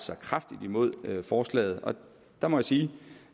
sig kraftigt imod forslaget og der må jeg sige